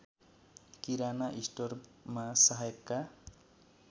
किराना स्टोरमा सहायकका